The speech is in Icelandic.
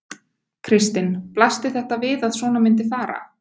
Kristinn: Blasti þetta við að svona myndi fara?